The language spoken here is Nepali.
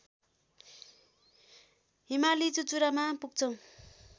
हिमाली चुचुरामा पुग्छौं